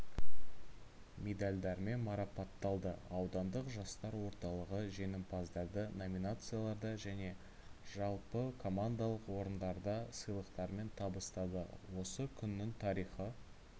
медальдармен марапатталды ауданддық жастар орталығы жеңімпаздарды номинацияларда және жалпыкомандалық орындарда сыйлықтармен табыстады осы күннің тарихы